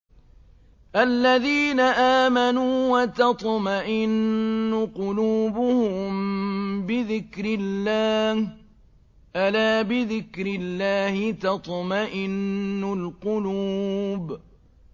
الَّذِينَ آمَنُوا وَتَطْمَئِنُّ قُلُوبُهُم بِذِكْرِ اللَّهِ ۗ أَلَا بِذِكْرِ اللَّهِ تَطْمَئِنُّ الْقُلُوبُ